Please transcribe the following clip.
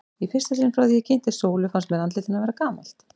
Í fyrsta sinn frá því ég kynntist Sólu fannst mér andlit hennar vera gamalt.